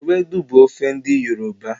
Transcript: Ewedu bu ofe n'di yoruba